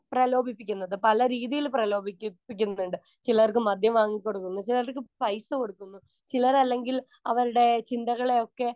Speaker 1 പ്രലോഭിപ്പിക്കുന്നത് പല രീതിയിൽ പ്രലോഭിപ്പി പ്പിക്കുന്നതുണ്ട്. ചിലർക്ക് മദ്യം വാങ്ങിക്കൊടുക്കുന്നു ചിലർക്ക് പൈസ കൊടുക്കുന്നു ചിലരല്ലെങ്കിൽ അവർടെ ചിന്തകളെയൊക്കെ